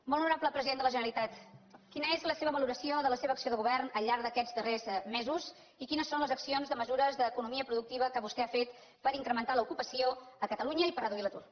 molt honorable president de la generalitat quina és la seva valoració de la seva acció de govern al llarg d’aquests darrers mesos i quines són les accions de mesures d’economia productiva que vostè ha fet per incrementar l’ocupació a catalunya i per reduir l’atur